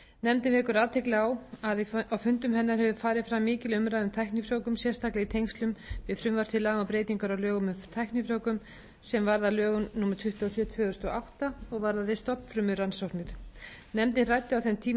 nefndin vekur athygli á að á fundum hennar hefur farið fram mikil umræða um tæknifrjóvgun sérstaklega í tengslum við frumvarp til laga um breytingar á lögum um tæknifrjóvgun sem varð að lögum númer tuttugu og sjö tvö þúsund og átta og varðaði stofnfrumurannsóknir nefndin ræddi á þeim tíma